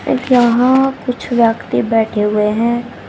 जहां कुछ व्यक्ति बैठे हुए हैं।